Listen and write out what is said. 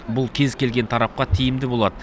бұл кез келген тарапқа тиімді болады